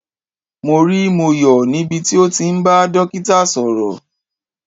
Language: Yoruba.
Mo rí Moyo níbi tí ó ti ń bá dókítà sọ̀rọ̀.